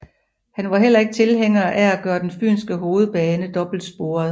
Han var heller ikke tilhænger af at gøre den fynske hovedbane dobbeltsporet